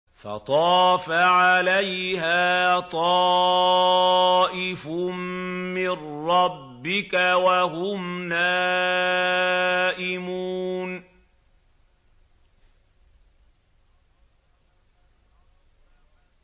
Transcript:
فَطَافَ عَلَيْهَا طَائِفٌ مِّن رَّبِّكَ وَهُمْ نَائِمُونَ